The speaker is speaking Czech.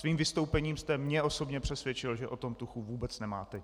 Svým vystoupením jste mě osobně přesvědčil, že o tom tuchu vůbec nemáte.